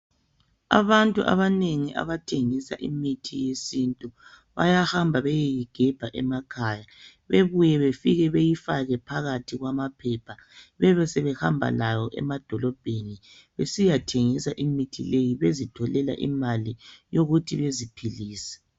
Abantu abanengi abathengisa imithi yesintu bayahamba bayeyigebha emakhaya bebuye befike beyifake phakathi kwamaphepha bebesebehamba layo emadolobheni besiyathengisa imithi leyi bezitholela imali yokuthi baziphilise.